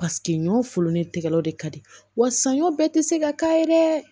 Paseke ɲɔ fulolen tɛgɛlaw de ka di wa sanɲɔ bɛɛ tɛ se ka k'a ye dɛ